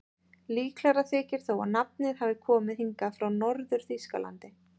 Líklegra þykir þó að nafnið hafi komið hingað frá Norður-Þýskalandi.